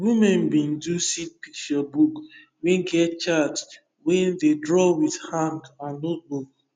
women bin do seed picture book wey get chart wey dey draw with hand and notebook